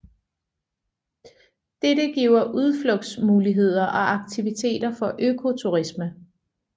Dette giver udflugtsmuligheder og aktiviteter for økoturisme